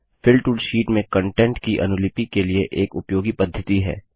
fill tool fill tool sheet में content की अनुलिपि के लिए एक उपयोगी पद्धति है